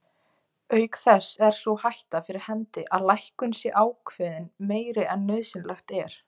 Auk þess er sú hætta fyrir hendi að lækkun sé ákveðin meiri en nauðsynlegt er.